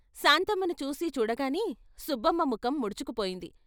శాంతమ్మని చూసీ చూడగానే సుబ్బమ్మ ముఖం ముడుచుకుపోయింది.